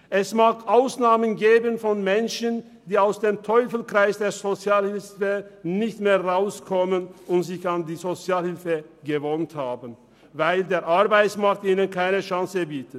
Es mag Ausnahmen geben, Menschen, die aus dem Teufelskreis der Sozialhilfe nicht mehr herauskommen und sich an die Sozialhilfe gewöhnt haben, weil der Arbeitsmarkt ihnen keine Chance bietet.